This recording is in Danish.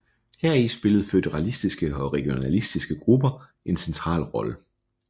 Heri spillede føderalistiske og regionalistiske grupper en central rolle